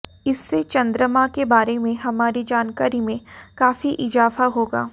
इससे चंद्रमा के बारे में हमारी जानकारी में काफी इजाफा होगा